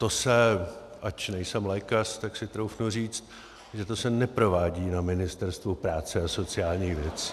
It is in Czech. To se, ač nejsem lékař, tak si troufnu říct, že to se neprovádí na Ministerstvu práce a sociálních věcí.